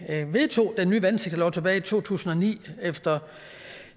vedtog den nye vandsektorlov tilbage i to tusind og ni efter